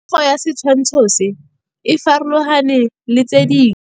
Popêgo ya setshwantshô se, e farologane le tse dingwe.